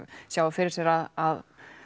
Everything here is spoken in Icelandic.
sjái fyrir sér að